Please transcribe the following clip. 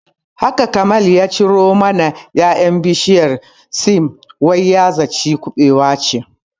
Haka Kamal ya ciro mana ƴaƴan bishiyar siam wai ya zata kubewa ce